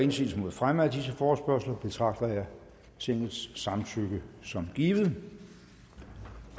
indsigelse mod fremme af disse forespørgsler betragter jeg tingets samtykke som givet